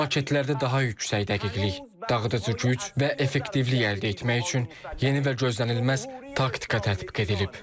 Bu raketlərdə daha yüksək dəqiqlik, dağıdıcı güc və effektivlik əldə etmək üçün yeni və gözlənilməz taktika tətbiq edilib.